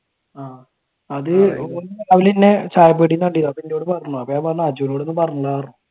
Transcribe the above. ആഹ് അത് അവർ തന്നെ